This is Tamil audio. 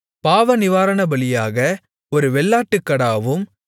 பாவநிவாரணபலியாக ஒரு வெள்ளாட்டுக்கடாவும்